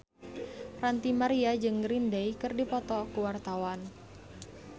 Ranty Maria jeung Green Day keur dipoto ku wartawan